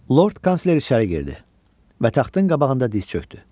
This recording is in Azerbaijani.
Lord kansler içəri girdi və taxtın qabağında diz çökdü.